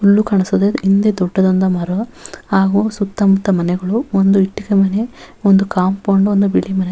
ಹುಲ್ಲು ಕಾಣಿಸ್ತದೆ ಹಿಂದೆ ದೊಡ್ಡದಾದಂತಹ ಮರ ಆ ಸುತ್ತಮುತ್ತ ಮನೆಗಳು ಒಂದು ಇಟ್ಟಿಗೆ ಮನೆ ಒಂದು ಕಾಂಪೌಂಡ್ ಒಂದು ಬಿಳಿ ಮನೆ.